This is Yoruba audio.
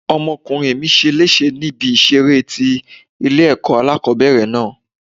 Ọmọkùnrin mi ṣe léṣe ní ibi ìṣeré tí ilé ẹ̀kọ́ alákòbẹ̀rẹ̀ náà.